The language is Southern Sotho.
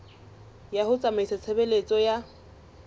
ya ho tsamaisa tshebeletso ya